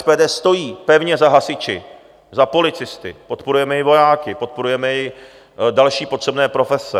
SPD stojí pevně za hasiči, za policisty, podporujeme i vojáky, podporujeme i další potřebné profese.